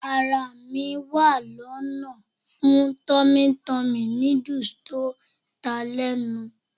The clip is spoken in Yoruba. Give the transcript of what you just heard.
Ara mi wa lona fún Tummy Tummy noodles tó ní ta lenu.